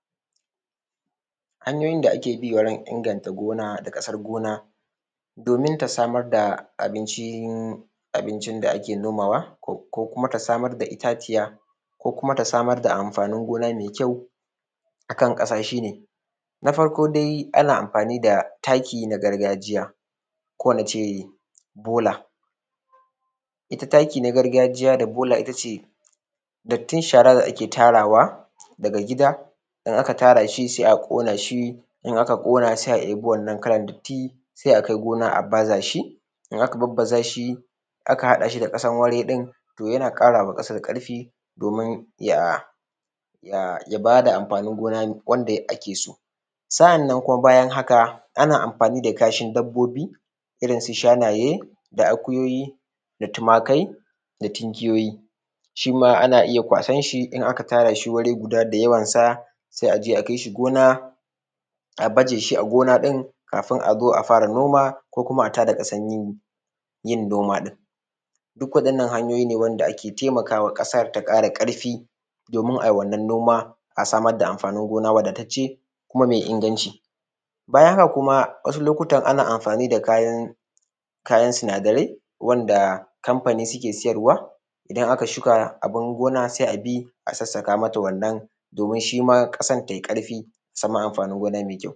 Hanyoyin da ake bi wurin inganta gona da ƙasa, gona domin ta samar da abincin da ake nomawa ko kuma ta samar da itaciya, ko kuma ta samar da amfanin gona mai kyau akan ƙasa shi ne: Na farko dai ana amfani da taki na gargajiya, ko nace bola, ita taki na gargajiya da bola ita ce dattin shara da ake tarawa daga gida, in aka tara shi sai a ƙona shi, in aka ƙona sai a ibi wannan kalan datti sai akai gona a baza shi, in aka barbazashi aka haɗa shi da ƙasan wuri ɗin, to yana ƙarama ƙasan ƙarfi, domin ya, ya bada amfanin gona wanda ake so. Sa’annan kuma bayan haka ana amfani da kashin dabbobi,, irin su shanaye da akuyoyi, da tumakai, da tunkiyoyi shima ana iya kwasan shi, in aka tara shi wuri guda da yawan sa, sai aje a kai shi gona, a baje shi a gona ɗin kafin a zo a fara noma ko kuma a tada ƙasan yin noma ɗin, duk waɗannan hanyoyi ne wanda ake temakawa ƙasar, ta ƙara ƙarfi donuna ai wannan noma, a samar da amfanin gona wadatacce, kuma mai inganci. Bayan haka kuma wasu lokutan ana amfani da kayan, kayan sinadarai wanda kamfani suke siyarwa idan aka shuka abun gona sai abi a sasaka mata wannan, domin shima ƙasan te karfi a samu amfanin gona mai kyau.